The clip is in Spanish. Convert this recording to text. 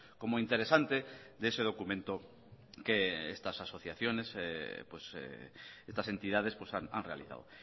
como interesante de ese documento que estas asociaciones estas entidades han realizado